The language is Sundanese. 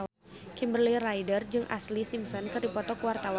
Kimberly Ryder jeung Ashlee Simpson keur dipoto ku wartawan